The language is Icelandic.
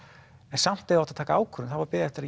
en samt þegar átti að taka ákvarðanir var beðið eftir